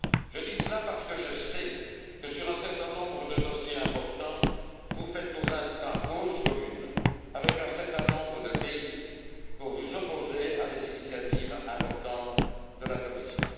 Je dis cela parce que je sais que, sur un certain nombre de dossiers importants, vous faites pour l'instant cause commune avec un certain nombre de pays pour vous opposer à des initiatives importantes de la Commission.